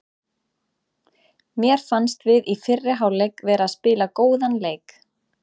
Mér fannst við í fyrri hálfleik vera að spila góðan leik.